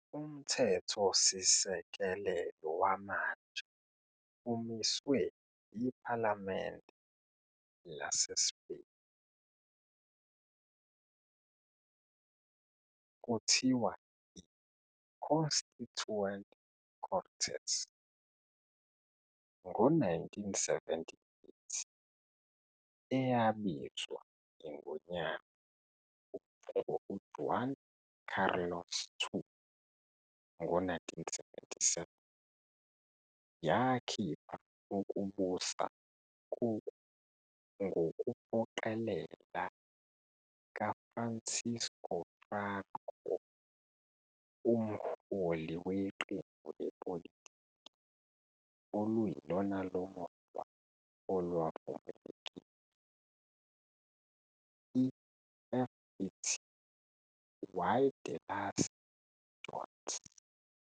Umthethosikelelo wamanje umiswe iPhalamende laseSpeyini, kuthiwa i-"Constituent Cortes", ngo-1978 eyabizwa iNgonyama u-Juan Carlos II ngo-1977, yakhipha ukubusa ngokuphoqelela ka-Fransisco Franco, umholi weqembu lepolitiki oluyilona lodwa olwavumelekile- i-"FET y de las JONS".